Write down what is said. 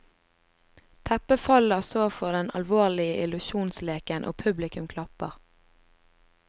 Teppet faller så for den alvorlige illusjonsleken, og publikum klapper.